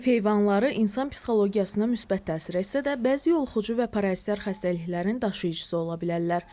Ev heyvanları insan psixologiyasına müsbət təsir etsə də, bəzi yoluxucu və parazitar xəstəliklərin daşıyıcısı ola bilərlər.